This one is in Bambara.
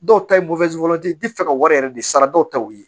Dɔw ta ye ti fɛ ka wari yɛrɛ de ye sara dɔw ta ye